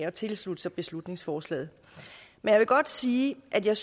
at tilslutte sig beslutningsforslaget jeg vil godt sige at jeg